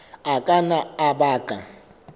a ka nna a baka